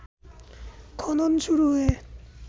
খনন শুরু হয়ে